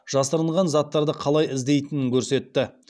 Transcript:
жасырынған заттарды қалай іздейтінін көрсетті